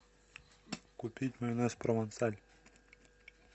купить майонез провансаль